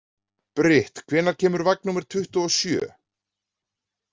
Brit, hvenær kemur vagn númer tuttugu og sjö?